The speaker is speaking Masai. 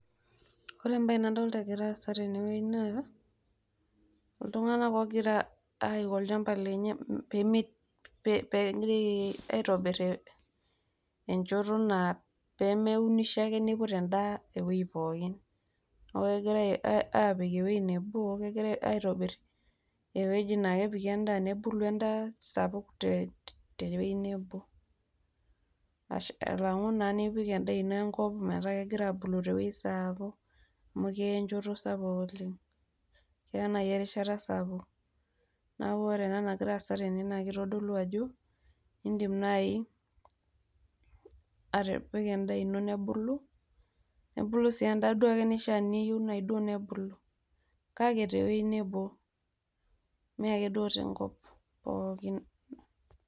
ore embae nadolta egira aasa tene wuei naa iltunganak ogira aiko olchamba lenye pemi pemee aitobir enchoto naa pemeunisho ake niput endaa ewuei pookin niaku kegirae apik ewuei nebo ,kegirae aitobir ewueji naa kepiki endaa ,nebulu endaa sapuk te wuei nebo ashu alangu naa nipik endaa ino enkop metaa kegira abulu tewuei sapuk amu keya enchoto sapuk amu keya nai erishata sapuk